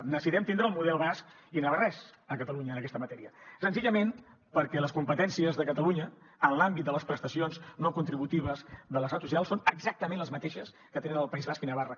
necessitem tindre el model basc i navarrès a catalunya en aquesta matèria senzillament perquè les competències de catalunya en l’àmbit de les prestacions no contributives de l’estat social són exactament les mateixes que tenen al país basc i navarra